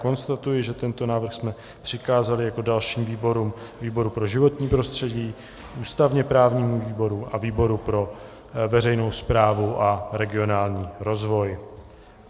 Konstatuji, že tento návrh jsme přikázali jako dalším výborům výboru pro životní prostředí, ústavně-právnímu výboru a výboru pro veřejnou správu a regionální rozvoj.